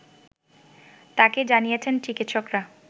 তাকে জানিয়েছেন চিকিৎসকেরা